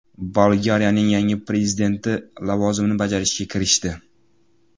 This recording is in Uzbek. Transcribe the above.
Bolgariyaning yangi prezidenti lavozimini bajarishga kirishdi.